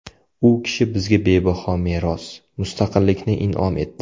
U kishi bizga bebaho meros – mustaqillikni in’om etdi.